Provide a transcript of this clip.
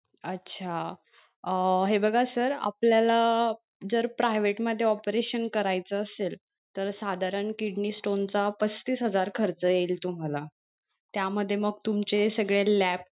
अच्छा अं हे बघा sir आपल्याला जर private मध्ये operation करायच असेल तर साधारण kidney stone चा पस्तीस हजार खर्च येईल तुम्हाला त्या मध्ये मग तुमचे सगळे lab